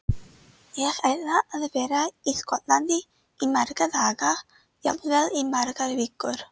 Ég ætla að vera í Skotlandi í marga daga, jafnvel í margar vikur.